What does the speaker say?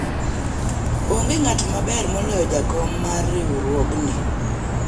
onge ng'at maber moloyo jakom mar riwruogni